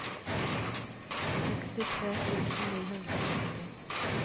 sekstitre tusen ni hundre og førti